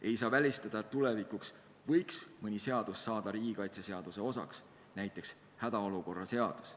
Ei saa välistada, et tulevikus võib veel mõni seadus saada riigikaitseseaduse osaks, näiteks hädaolukorra seadus.